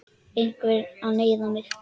Er einhver að neyða þig?